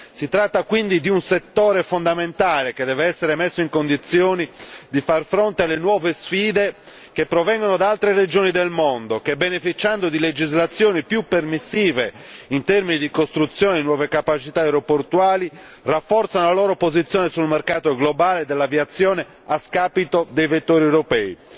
Si tratta quindi di un settore fondamentale che deve essere messo in condizioni di far fronte alle nuove sfide che provengono da altre regioni del mondo che, beneficiando di legislazioni più permissive in termini di costruzione di nuove capacità aeroportuali, rafforzano la loro posizione sul mercato globale dell'aviazione a scapito dei vettori europei.